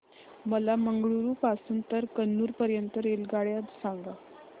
मला मंगळुरू पासून तर कन्नूर पर्यंतच्या रेल्वेगाड्या सांगा